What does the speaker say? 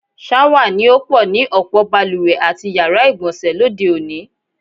S̩áwà ni ó pò̩ ni ò̩pò̩ balùwè àti yàrá ìgbò̩nsè̩ lóde òní.